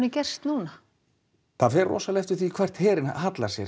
gerst núna það fer eftir því hvert herinn hallar sér